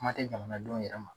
Kuma te jamanadenw yɛrɛ ma